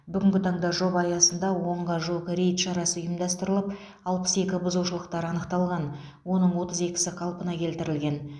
бүгінгі таңда жоба аясында онға жуық рейд шарасы ұйымдастырылып алпыс екі бұзушылықтар анықталған оның отыз екісі қалпына келтірілген